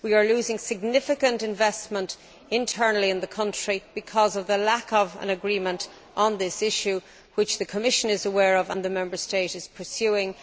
We are losing significant investment internally in the country due to the absence of an agreement on this issue, which the Commission is aware of and the Member State is pursuing.